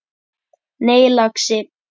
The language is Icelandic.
Nei, lagsi.